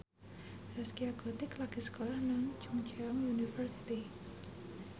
Zaskia Gotik lagi sekolah nang Chungceong University